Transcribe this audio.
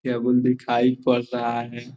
दिखाई पर रहा है।